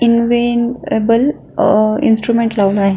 इनवेनएबल अ इन्स्ट्रुमेंट लावून आहे.